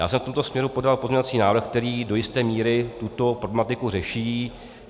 Já jsem v tomto směru podal pozměňovací návrh, který do jisté míry tuto problematiku řeší.